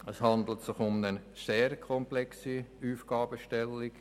Es handelt sich um eine sehr komplexe Aufgabenstellung.